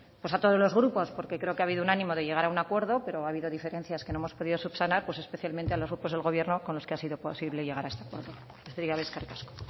a todos los grupos porque creo que ha habido un ánimo de llegar a un acuerdo pero ha habido diferencias que no hemos podido subsanar pues especialmente a los grupos del gobierno con los que ha sido posible llegar a este acuerdo besterik gabe eskerrik asko